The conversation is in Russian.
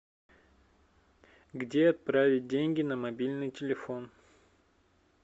где отправить деньги на мобильный телефон